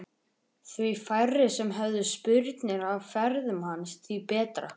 Því færri sem höfðu spurnir af ferðum hans því betra.